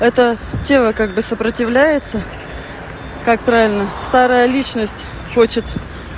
это тело как бы сопротивляется как правильно старая личность хочет